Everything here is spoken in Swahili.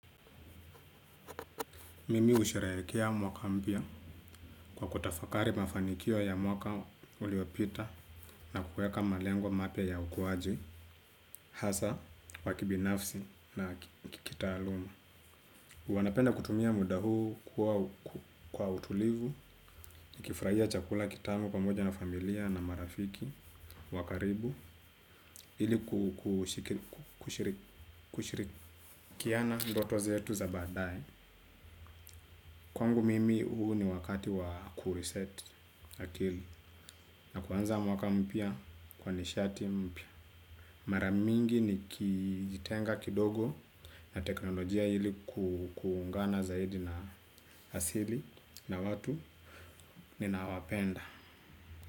Mimi husherekea mwaka mpya kwa kutafakari mafanikio ya mwaka uliopita na kuweka malengo mapya ya ukuwaji, hasa, wa kibinafsi na ki kitaaluma. Wanapenda kutumia muda huu kwa utulivu, tukifurahia chakula kitamu pamoja na familia na marafiki, wa karibu, ili kushirikiana ndoto zetu za baadae. Kwangu mimi huu ni wakati wa kureset akili. Na kuanza mwaka mpya kwa nishati mpya. Maramingi nikijitenga kidogo na teknolojia ili kuungana zaidi na hasili na watu ninaowapenda.